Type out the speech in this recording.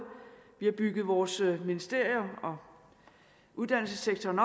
vi har bygget vores ministerier og uddannelsessektoren